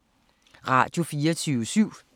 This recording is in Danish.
Radio24syv